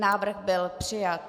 Návrh byl přijat.